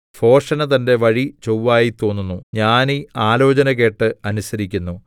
ഭോഷന് തന്റെ വഴി ചൊവ്വായി തോന്നുന്നു ജ്ഞാനി ആലോചന കേട്ട് അനുസരിക്കുന്നു